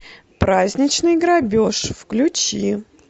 праздничный грабеж включи